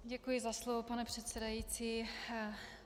Děkuji za slovo, pane předsedající.